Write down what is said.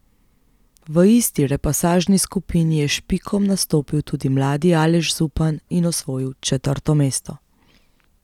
V isti repasažni skupini je s Špikom nastopil tudi mladi Aleš Zupan in osvojil četrto mesto.